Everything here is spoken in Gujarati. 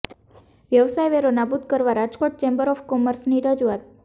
વ્યવસાય વેરો નાબૂદ કરવા રાજકોટ ચેમ્બર ઓફ કોમર્સની રજૂઆત